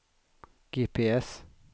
GPS